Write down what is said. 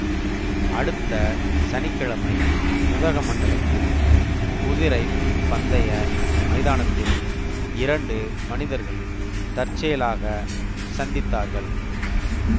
அடுத்த சனி கிழமை உதகமண்டலத்தில் குதிரை பந்தய மைதானத்தில் இரண்டு மனிதர்கள் தற்செயலாகச் சந்தித்தார்கள்